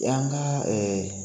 y'an ka